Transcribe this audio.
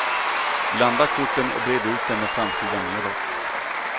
Blanda korten och bred ut dem med framsidan nedåt.